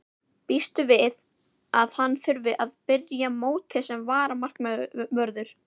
Býstu við að hann þurfi að byrja mótið sem varamarkvörður?